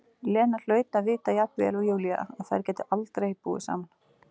Lena hlaut að vita jafn vel og Júlía að þær gætu aldrei búið saman.